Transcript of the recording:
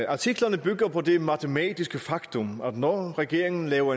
artiklerne bygger på det matematiske faktum at når regeringen laver